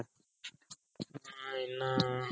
ಹ್ಮ್ಮ್ ಇನ್ನ